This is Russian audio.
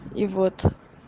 и вот